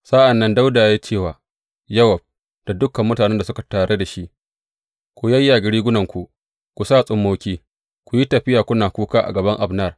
Sa’an nan Dawuda ya ce wa Yowab da dukan mutanen da suke tare da shi, Ku yayyage rigunarku, ku sa tsummoki, ku yi tafiya kuna kuka a gaban Abner.